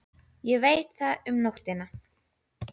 Ég veit það var um nóttina.